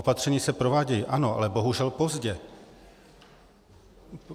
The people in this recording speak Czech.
Opatření se provádějí, ano, ale bohužel pozdě.